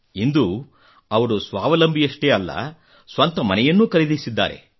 ಇಂದು ಅವರು ಸ್ವಾವಲಂಬಿಯಷ್ಟೇ ಅಲ್ಲ ಸ್ವಂತ ಮನೆಯನ್ನೂ ಖರೀದಿಸಿದ್ದಾರೆ